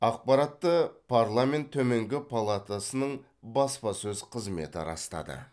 ақпаратты парламент төменгі палатасының баспасөз қызметі растады